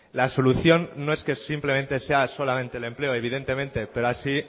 la solución no es que simplemente sea solamente el empleo evidentemente pero así